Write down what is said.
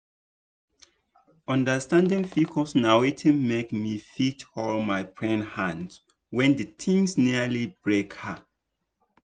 understanding pcos na wetin make me fit hold my friend hand when di thing nearly break her.